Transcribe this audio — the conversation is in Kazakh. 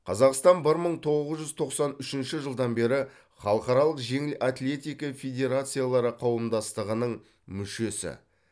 қазақстан бір мың тоғыз жүз тоқсан үшінші жылдан бері халықаралық жеңіл атлетика федерациялары қауымдастығының мүшесі